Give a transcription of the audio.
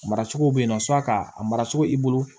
A mara cogo bɛ yen nɔ ka a mara cogo i bolo